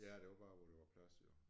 Ja det var bare hvor der var plads jo